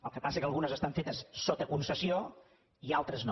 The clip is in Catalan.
el que passa és que algunes estan fetes sota concessió i altres no